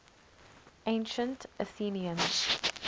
ancient athenians